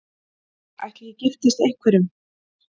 Ætli ég giftist einhverjum?